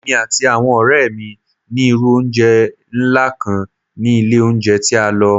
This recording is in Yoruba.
Emi ati awọn ọrẹ mi ni iru ounjẹ nla kan ni ile ounjẹ ti a lọ